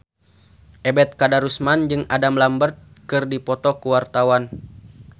Ebet Kadarusman jeung Adam Lambert keur dipoto ku wartawan